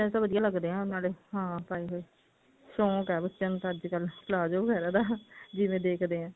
ਬੱਚਿਆ ਦੇ ਤਾਂ ਨਾਲੇ ਵਧੀਆਂ ਲੱਗਦੇ ਨੇ ਹਾਂ ਪਾਏ ਹੋਏ ਸ਼ੋਂਕ ਹੈ ਬੱਚਿਆ ਨੂੰ ਤਾਂ ਅੱਜਕਲ palazzo ਵਗੇਰਾ ਦਾ ਜਿਵੇਂ ਦੇਖਦੇ ਹੈ